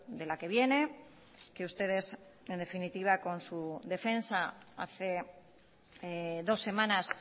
de la que viene que ustedes en definitiva con su defensa hace dos semanas